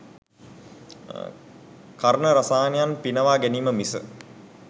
කර්ණරසායනයන් පිනවා ගැනීම මිස